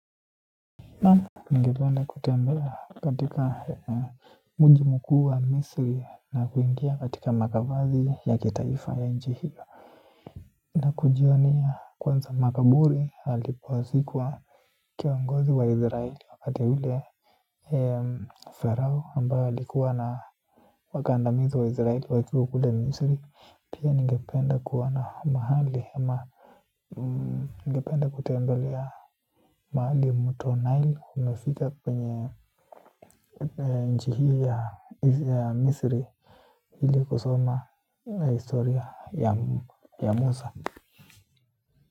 Naam, ningependa kutembea katika mji mkuu wa Misri na kuingia katika makavazi ya kitaifa ya nchi hiyo. Na kujionea kwanza makaburi alipozikwa kiongozi wa Izraeli wakati ule farao ambaye alikuwa na wakandamizi wa Izraeli wakiwa kule Misri. Pia ningependa kuona mahali ama ningependa kutembelea mahali mto Nile umefika kwenye nchi hii ya Misri. Ili kusoma historia ya Musa.